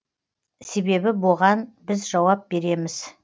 себебі боған біз жауап береміз